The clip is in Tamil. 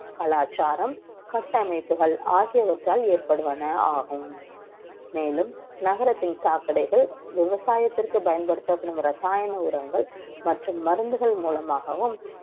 கலாச்சாரம் கட்டமைப்புகள் ஆகியவற்றால் ஏற்படும் ஆகும் மேலும் நகரத்தில் சாக்கடைகள் விவசாயத்திற்கு பயன்படுத்தப்படும் ரசாயன உரங்கள் மற்றும் மருந்துகள் மூலமாகவும்